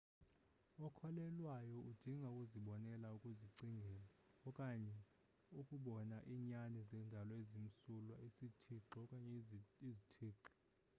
okholelwayo udinga ukuzibonela ukuzicingela okanye ukubona iinyani zendalo ezimsulwa/isithixo okanye izthixo